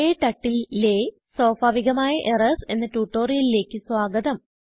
KTurtleലെ സ്വാഭാവികമായ Errorsഎന്ന ട്യൂട്ടോറിയലിലേക്ക് സ്വാഗതം